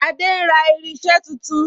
Adé ń ra irinse tuntun